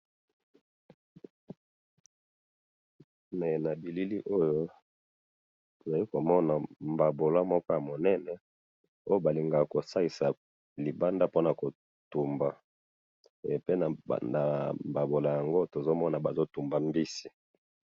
na bilili oyo toza komona mbabula moko ya munene oyo balingaka kosalisa libanda pona ko toumba, pe ebanda mbaboula yngo oyo tozali komona bazo kotoumba mbisi.